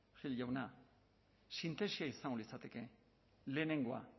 gil jauna sintesia izango litzateke lehenengoa